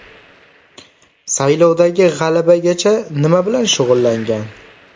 Saylovdagi g‘alabagacha nima bilan shug‘ullangan?